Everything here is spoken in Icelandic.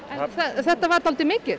þetta var dálítið mikið